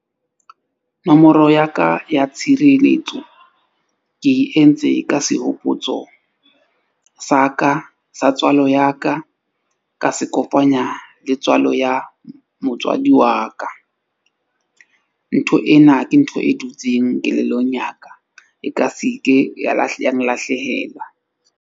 Nomoro ya ka ya tshireletso ke e entse ka sehopotso sa ka sa tswalo ya ka, ka se kopanya le tswalo ya motswadi wa ka. Ntho ena ke ntho e dutseng kelellong ya ka. E ka se ke ya ya nlahlehela.